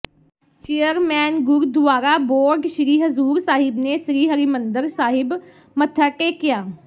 chairman Gurdwara board Sri Hazur Sahib ਨੇ ਸ੍ਰੀ ਹਰਿਮੰਦਰ ਸਾਹਿਬ ਮੱਥਾ ਟੇਕਿਆ